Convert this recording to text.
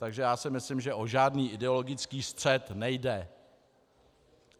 Takže já si myslím, že o žádný ideologický střet nejde.